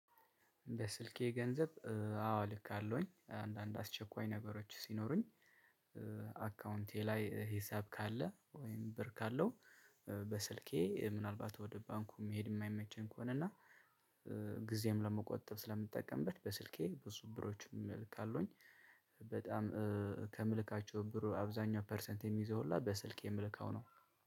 በስልኬ ገንዘብ አዎ ልካለሁኝ አንዳንድ አስቸኳይ ነገሮች ሲኖሩኝ አካውንቴ ላይ ሂሳብ ካለ ወይም ብር ካለው። በስልኬ ምናልባት ወደ ባንኩ መሄድ የማይመቸኝ ከሆነ እና ጊዜም ለመቆጠብ ስለምጠቀምበት በስልኬ ብዙ ብሮችም እልካለሁኝ። በጣም ከምልካቸው ብር አብዛኛው ፐርሰንት የሚይዘው ሁላ በስልክ የምልከው ነው።